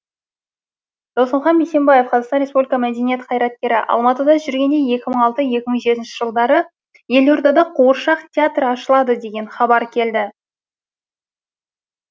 досымхан бейсенбаев қазақстан республикасының мәдениет қайраткері алматыда жүргенде екі мың алты екі мың жетінші жылдары елордада қуыршақ театры ашылады деген хабар келді